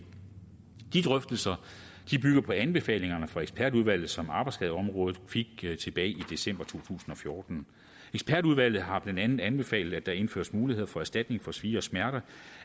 de drøftelser bygger på anbefalingerne fra ekspertudvalget som arbejdsskadeområdet fik tilbage i december to tusind og fjorten ekspertudvalget har blandt andet anbefalet at der indføres mulighed for erstatning for svie og smerte og